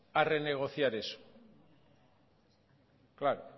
a renegociar eso claro